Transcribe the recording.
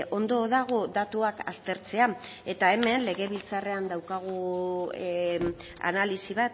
ondo dago datuak aztertzea eta hemen legebiltzarrean daukagu analisi